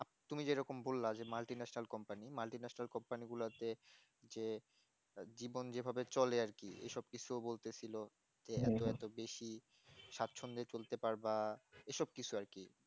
তুমি যেরকম বললা যে multinational company multinational company গোলাতে যে জীবন যেভাবে চলে আর কি এসব কিছু বলতে ছিল যে এত এত বেশি স্বাচ্ছন্দে চলতে পারবা এসব কিছু আর কি